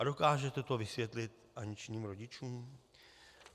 A dokážete to vysvětlit Aniččiným rodičům?